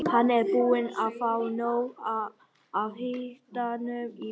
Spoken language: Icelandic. Hann er búinn að fá nóg af hitanum í bili.